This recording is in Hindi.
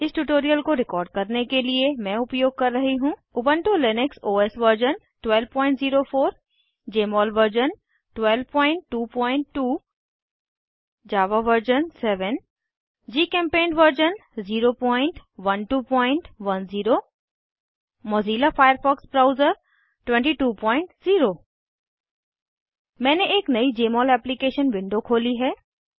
इस ट्यूटोरियल को रिकॉर्ड करने के लिए मैं उपयोग कर रही हूँ Ubuntu Linux OS version 1204 Jmol version 1222 Java version 7 GChemPaint version 01210 Mozilla Firefox browser 220 मैंने एक नयी जमोल एप्लीकेशन विंडो खोली है